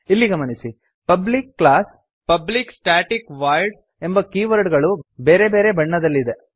ಇಲ್ಲಿ ಗಮನಿಸಿ public class public static void ಎಂಬ ಕೀವರ್ಡ್ ಗಳು ಬೇರೆ ಬಣ್ಣದಲ್ಲಿವೆ